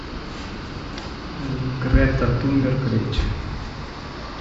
грета тунберг речь